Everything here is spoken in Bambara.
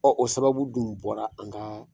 o sababu dun bɔra an ka